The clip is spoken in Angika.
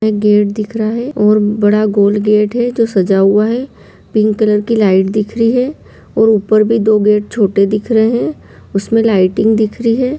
गेट दिख रहा है और बड़ा गोल गेट है जो सजा हुआ है पिंक कलर की लाइट दिख रही है और ऊपर भी दो गेट छोटे दिख रहे हैं उसमें लाइटिंग दिख रही है।